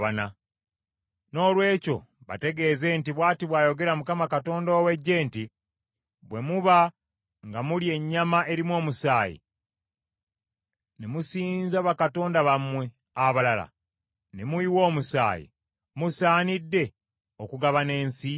Noolwekyo bategeeze nti, ‘Bw’ati bw’ayogera Mukama Katonda ow’eggye nti, Bwe muba nga mulya ennyama erimu omusaayi, ne musinza bakatonda bammwe abalala, ne muyiwa omusaayi, musaanidde okugabana ensi?